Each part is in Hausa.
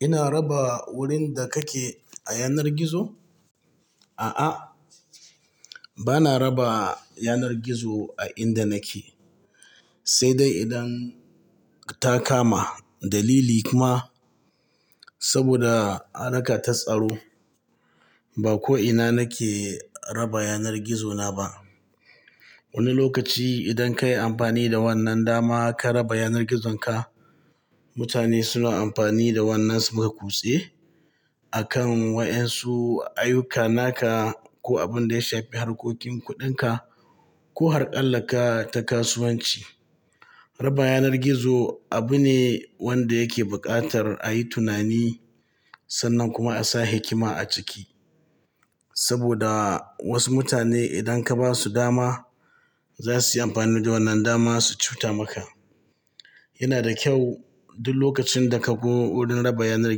Ina raba wurin da kake a yanar gizo? A'a, bana raba yanar gizo a inda nake, sai dai idan ta kama dalili kuma saboda harka ta tsaro, ba ko ina nake raba yanar gizona ba. Wani lokaci idan kayi amfani da wannan dama ka raba yanar gizonka, mutane suna amfani da wannan su maka kutse a kan wa'yansu ayyuka naka ko abin da ya shafi harkokin kuɗinka ko harƙalla ka ta kasuwanci. Raba yanar gizo abu ne wanda yake buƙatar a yi tunani sannan kuma a sa hikima a ciki. Saboda wasu mutane idan ka basu dama za suyi amfani da wannan dama su cuta maka. Yana da kyau duk lokacin da ka zo wurin raba yanar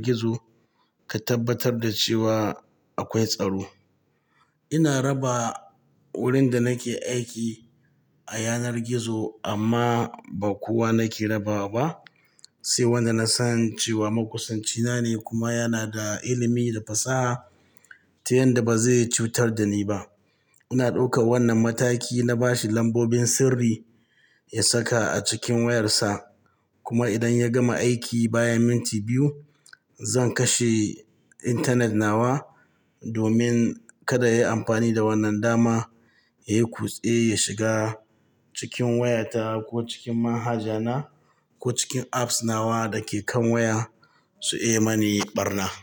gizo, ka tabbatar da cewa akwai tsaro. Ina raba wurin da nake aiki a yanar gizo amma ba kowa nake raba ba. Sai wanda nasan cewa makusanchina ne kuma yanada ilimi da fasaha ta yanda ba zai cutar da ni ba. Ina ɗauka wannan mataki na bashi lambobin sirri ya saka a cikin wayarsa kuma idan ya gama aiki bayan minti biyu, zan kashe intanet nawa domin kada yayi amfani da wannan dama ya yi kutse ya shiga cikin wayata ko cikin manhaja na ko cikin apps nawa da ke kan waya su iya mani ɓarna.